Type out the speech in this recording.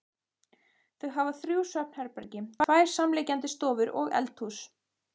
Þau hafa þrjú svefnherbergi, tvær samliggjandi stofur og eldhús.